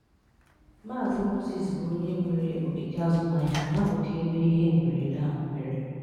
Maazị Moses bụ onye nwere ogige azụmahịa n'akụkụ ebe ihe mberede ahụ mere.